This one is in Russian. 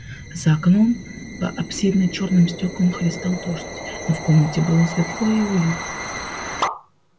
за окном по аспидно-чёрным стёклам хлестал дождь но в комнате было светло и уютно